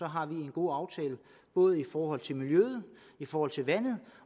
har vi en god aftale både i forhold til miljøet i forhold til vandet